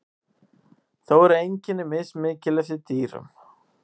þó eru einkenni mismikil eftir dýrum